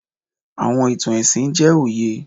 Awọn itan ẹsin jẹ oye